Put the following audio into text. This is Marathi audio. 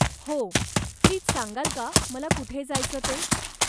हो, प्लीज सांगाल का मला कुठे जायचं ते?